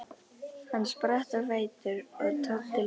Hann spratt á fætur og tók til fótanna.